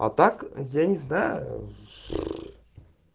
а так я не знаю